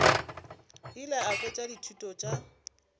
ile a fetša dithuto tša